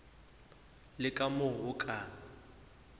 le ka moo o ka